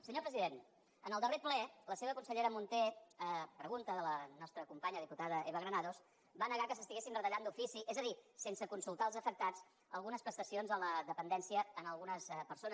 senyor president en el darrer ple la seva consellera munté a pregunta de la nostra companya diputada eva granados va negar que s’estiguessin retallant d’ofici és a dir sense consultar els afectats algunes prestacions a la dependència a algunes persones